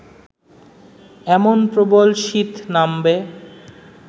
এমন প্রবল শীত নামবে